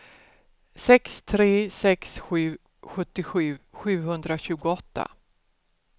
sex tre sex sju sjuttiosju sjuhundratjugoåtta